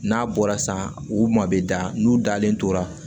N'a bɔra san u ma bɛ da n'u dalen tora